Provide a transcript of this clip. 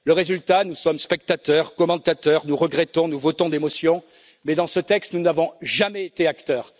Résultat nous sommes spectateurs, commentateurs, nous regrettons, nous votons des motions, mais dans ce texte, nous n'avons jamais été acteurs.